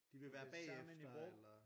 De vil være bagefter eller